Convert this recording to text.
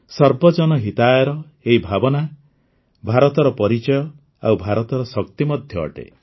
ସର୍ବଜନ ହିତାୟର ଏହି ଭାବନା ଭାରତର ପରିଚୟ ଆଉ ଭାରତର ଶକ୍ତି ମଧ୍ୟ ଅଟେ